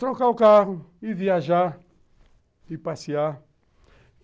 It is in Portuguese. trocar o carro, ir viajar, ir passear.